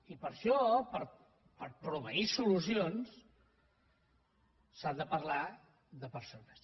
i per això per proveir solucions s’ha de parlar de persones